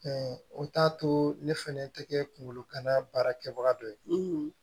o t'a to ne fɛnɛ tɛ kɛ kungologana baara kɛbaga dɔ ye